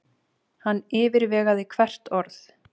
Hann yfirvegaði hvert orð.